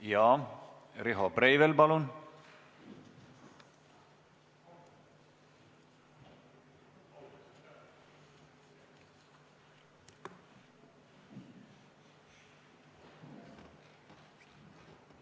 Jaa, Riho Breivel, palun!